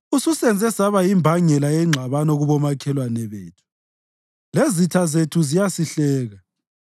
Ususenze saba yimbangela yengxabano kubomakhelwane bethu, lezitha zethu ziyasihleka.